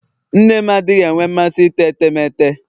nne m adịghị enwe masị ite etemeete.